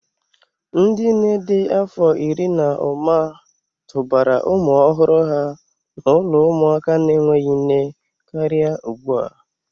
Ndị nne dị afọ iri na ụma tụbara ụmụ ọhụrụ ha n'ụlọ ụmụaka na-enweghị nne karịa ugbu a.